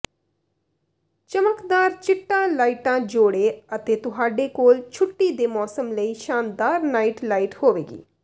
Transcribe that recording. ਚਮਕਦਾਰ ਚਿੱਟਾ ਲਾਈਟਾਂ ਜੋੜੋ ਅਤੇ ਤੁਹਾਡੇ ਕੋਲ ਛੁੱਟੀ ਦੇ ਮੌਸਮ ਲਈ ਸ਼ਾਨਦਾਰ ਨਾਈਟ ਲਾਈਟ ਹੋਵੇਗੀ